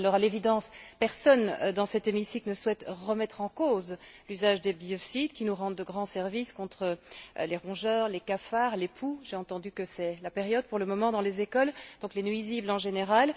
À l'évidence, personne, dans cet hémicycle, ne souhaite remettre en cause l'usage des biocides, qui nous rendent de grands services contre les rongeurs, les cafards, les poux j'ai entendu que c'était la période pour le moment dans les écoles donc les nuisibles en général.